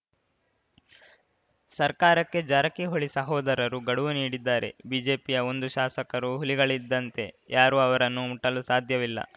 ಸರ್ಕಾರಕ್ಕೆ ಜಾರಕಿಹೊಳಿ ಸಹೋದರರು ಗಡುವು ನೀಡಿದ್ದಾರೆ ಬಿಜೆಪಿಯ ಒಂದು ಶಾಸಕರು ಹುಲಿಗಳಿದ್ದಂತೆ ಯಾರೂ ಅವರನ್ನು ಮುಟ್ಟಲೂ ಸಾಧ್ಯವಿಲ್ಲ